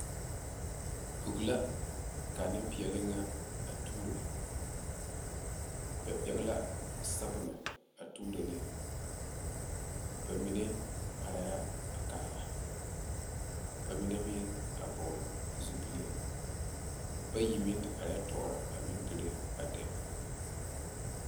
Bogi la ka Nenpeɛle nyɛ a tuuro ba pegle la sabula a tuuro ne ba mine are la a kaara ka mine meŋ vɔgle zupele bayi meŋ te are tɔɔre a meŋ dire ba demo .